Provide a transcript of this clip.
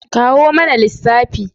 Kawo mana lissafi!